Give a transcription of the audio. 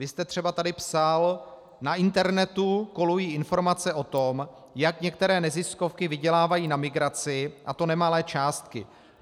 Vy jste třeba tady psal: "Na internetu kolují informace o tom, jak některé neziskovky vydělávají na migraci, a to nemalé částky.